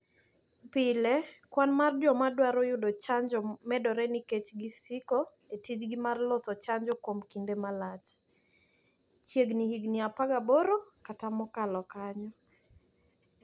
Pile, kwan mar joma dwaro yudo chanjo medore nikech gisiko e tijgi mar loso chanjo kuom kinde malach (chiegni higini 18 kata mokalo kanyo).